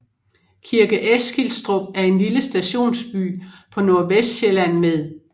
Kirke Eskilstrup er en lille stationsby på Nordvestsjælland med